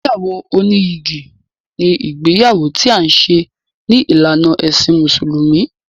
Ìgbéyàwó oníyìgì ni ìgbéyàwó ti à ń ṣe ní ìlànà ẹ̀sìn mùsùlùmí.